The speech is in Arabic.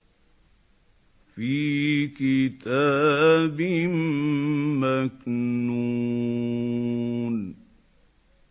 فِي كِتَابٍ مَّكْنُونٍ